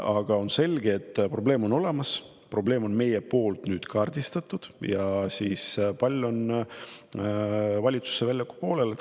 Aga on selge, et probleem on olemas, probleem on meil nüüd kaardistatud ja pall on valitsuse väljakupoolel.